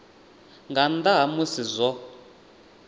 nga nnḓa ha musi zwo